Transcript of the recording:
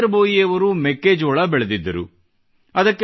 ಜಿತೇಂದ್ರ ಭೋಯಿ ಅವರು ಮೆಕ್ಕೆಜೋಳ ಬೆಳೆದಿದ್ದರು